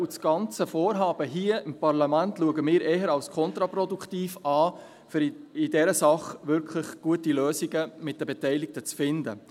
Das ganze Vorhaben hier im Parlament sehen wir eher als kontraproduktiv, um in dieser Sache wirklich gute Lösungen mit den Beteiligten zu finden.